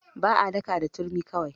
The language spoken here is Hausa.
Ba a daka da turmi kawai.